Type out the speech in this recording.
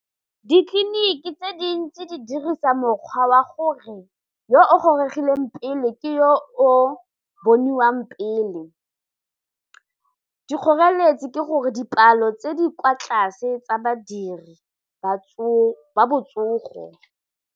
Ditleliniki tse dintsi di dirisa mokgwa wa gore yo o goregileng pele ke yo o boniwang pele, dikgoreletsi ke gore dipalo tse di kwa tlase tsa badiri ba botsogo.